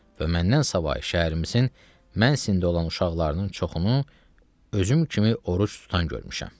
Və məndən savayı şəhərimizin mən sində olan uşaqlarının çoxunu özüm kimi oruc tutan görmüşəm.